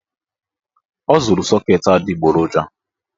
Ọ zụrụ sọket adịgboroja